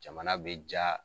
Jamana bɛ jaa.